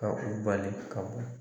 Ka u bali ka bɔ